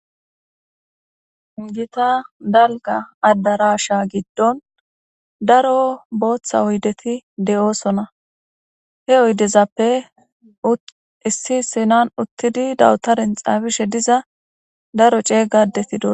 Hungita dalga addarasha giddon daro booththa oydeti de'oosona he oydezappe issi sinan uttidi dawutaren xaafishe diza daro ceeygadeti do.